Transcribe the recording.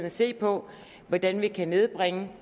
at se på hvordan vi kan nedbringe